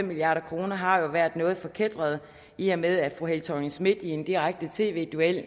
milliard kroner har været noget forkætret i og med at fru helle thorning schmidt i en direkte tv duel